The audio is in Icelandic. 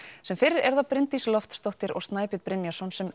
sem fyrr eru það Bryndís Loftsdóttir og Snæbjörn Brynjarsson sem